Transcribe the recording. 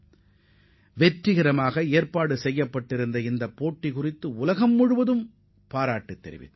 இந்தப் போட்டி மிகவும் வெற்றிகரமாக நடைபெற்றது என ஒட்டுமொத்த உலகமும் பாராட்டியது